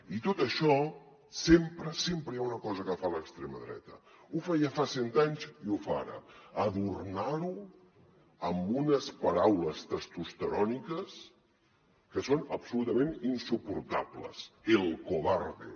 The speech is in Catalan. i tot això sempre sempre hi ha una cosa que fa a l’extrema dreta ho feia fa cent anys i ho fa ara adornar ho amb unes paraules testosteròniques que són absolutament insuportables el cobarde